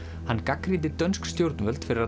hann gagnrýndi dönsk stjórnvöld fyrir að